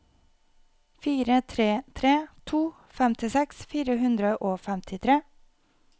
fire tre tre to femtiseks fire hundre og femtitre